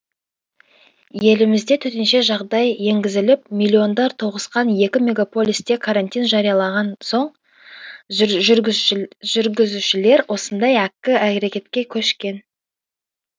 елімізде төтенше жағдай енгізіліп миллиондар тоғысқан екі мегаполисте карантин жариялаған соң жүргізушілер осындай әккі әрекетке көшкен